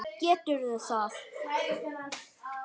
Geturðu það?